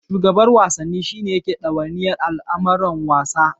Shugaban Wasanni shi ne yake ɗawainiyar al'amuran wasa.